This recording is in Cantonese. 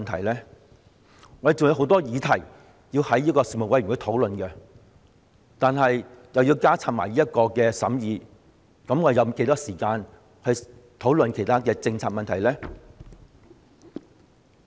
我們還有很多議題要在人力事務委員會討論，如果要加插這項審議工作，那我們有多少時間討論其他政策問題呢？